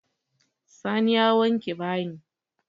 Sani ya wanke bayin.